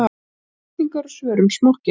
Spurningar og svör um smokkinn.